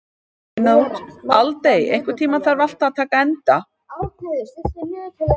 Aldey, einhvern tímann þarf allt að taka enda.